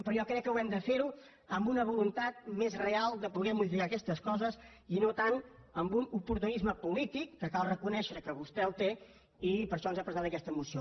però jo crec que ho hem de fer amb una voluntat més real de poder modificar aquestes coses i no tant amb un oportunisme polític que cal reconèixer que vostè el té i per això ens ha presentat aquesta moció